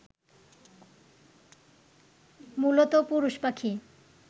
মূলত পুরুষ পাখি